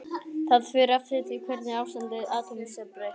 Það fer eftir því hvernig ástandi atóms er breytt.